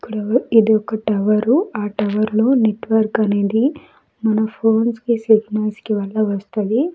ఇక్కడ ఇది ఒక టవరు ఆ టవర్ లో నెట్వర్క్ అనేది మన ఫోన్స్ కి సిగ్నల్స్ కి వల్ల వస్తది.